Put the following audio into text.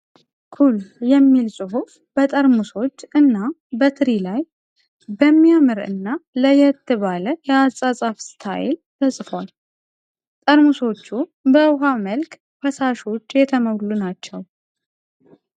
"ኩል" የሚል ጽሁፍ በጠርሙሶች እና በትሪ ላይ በሚያምር እና ለየት ባለው የአጻጻፍ ስታይል ተጽፏል። ጠርሙሶቹ በዉሃ መልክ ፈሳሾች የተሞሉ ናቸው።